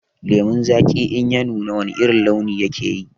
Lemon zaki in ya nuna wana irin launi yake yi?